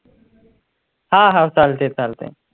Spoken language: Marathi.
हा हा चालतयं चालतयं.